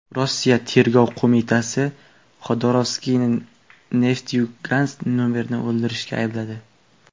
Rossiya Tergov qo‘mitasi Xodorkovskiyni Nefteyugansk merini o‘ldirishda aybladi.